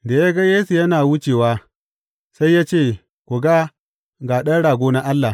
Da ya ga Yesu yana wucewa, sai ya ce, Ku ga, ga Ɗan Rago na Allah!